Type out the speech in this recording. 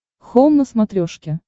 хоум на смотрешке